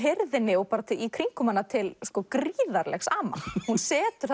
hirðinni og í kringum hana til gríðarlegs ama hún setur